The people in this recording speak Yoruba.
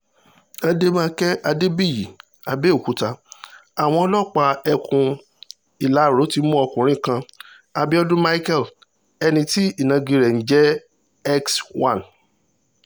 àdèmàkè adébíyì àbẹ̀òkúta àwọn ọlọ́pàá ẹkùn ìlara ti mú ọkùnrin kan abiodun micheal ẹni tí ìnagijẹ rẹ̀ ń jẹ́ x one